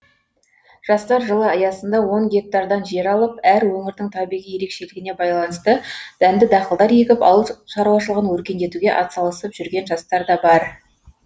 жастар жылы аясында он гектардан жер алып әр өңірдің табиғи ерекшелігіне байланысты дәнді дақылдар егіп ауыл шаруашылығын өркендетуге атсалысып жүрген жастар да бар